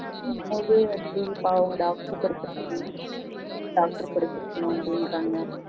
அவங்க doctor படிச்சிருகாங்க doctor படிச்சிருக்கணும் அப்டிகிறங்க